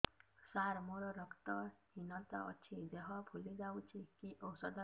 ସାର ମୋର ରକ୍ତ ହିନତା ଅଛି ଦେହ ଫୁଲି ଯାଉଛି କି ଓଷଦ ଖାଇବି